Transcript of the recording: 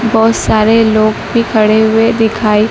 बहुत सारे लोग भी खड़े हुए दिखाई--